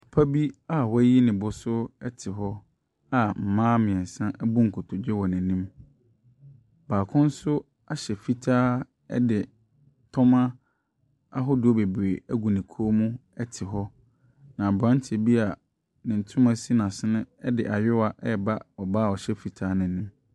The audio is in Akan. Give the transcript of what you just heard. Papa bi a wayi ne bo so te hɔ a mmaa mmeɛnsa abu nkotodwe wɔn n'anim. Baako nso ahyɛ fitaa de tɔmmɔ ahodoɔ bebree agu ne kɔn mu te hɔ, na aberanteɛ bi a ne ntoma si n'asene de ayewa reba ɔbaa a ɔhyɛ fitaa no anim.